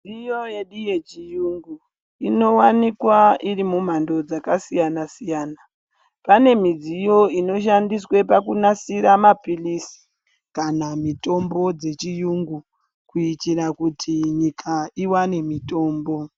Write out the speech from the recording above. Midziyo yedu yechiyungu inowanikwa iri mumhando dzakasiyana siyana, pane midziyo inoshandiswe pakunasira mapirizi kana mitombo dzechiyungu kuitira kuti nyika iwane mitombo.